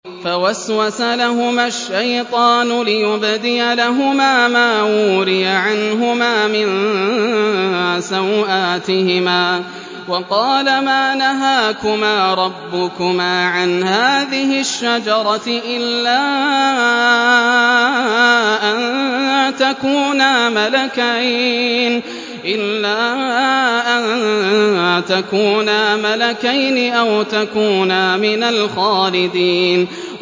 فَوَسْوَسَ لَهُمَا الشَّيْطَانُ لِيُبْدِيَ لَهُمَا مَا وُورِيَ عَنْهُمَا مِن سَوْآتِهِمَا وَقَالَ مَا نَهَاكُمَا رَبُّكُمَا عَنْ هَٰذِهِ الشَّجَرَةِ إِلَّا أَن تَكُونَا مَلَكَيْنِ أَوْ تَكُونَا مِنَ الْخَالِدِينَ